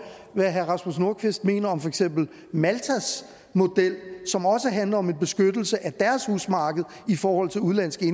hvad herre rasmus nordqvist mener om for eksempel maltas model som også handler om en beskyttelse af deres husmarked i forhold til udenlandske